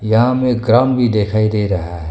गांव में ग्राउंड भी दिखाई दे रहा है।